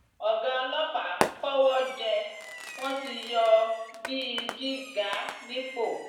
ọgá ọlọpàá kọwọ jẹ wọn ti yọ ọ bíi jígà nípò